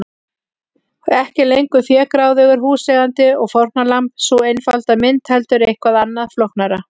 Ekki lengur fégráðugur húseigandi og fórnarlamb, sú einfalda mynd, heldur eitthvað annað, flóknara.